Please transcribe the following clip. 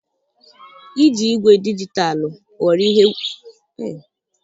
Iji igwefoto dijitalụ ghọrọ igwefoto a na-ejikarị eme ihe na ụlọ ọrụ ihe nkiri, malite puku abụọ na iri.